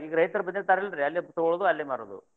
ಈಗ ರೈತ್ರ ಬಂದಿರ್ತಾರಿಲ್ರಿ ಅಲ್ಲೆ ತಗೋಳೋದ್ ಅಲ್ಲೇ ಮಾರುದು.